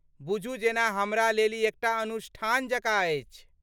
बुझु जेना हमरा लेल ई एकटा अनुष्ठान जकाँ अछि।